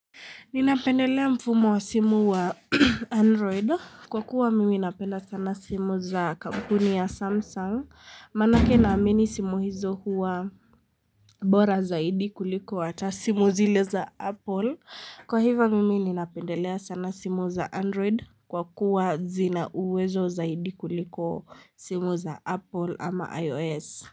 Ninapendelea mfumo wa simu wa android Kwa kuwa mimi napenda sana simu za kampuni ya samsung manake na amini simu hizo huwa bora zaidi kuliko hata simu zile za apple Kwa hivo mimi ninapendelea sana simu za android kwa kuwa zina uwezo zaidi kuliko simu za apple ama ios.